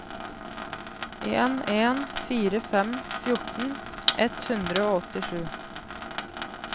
en en fire fem fjorten ett hundre og åttisju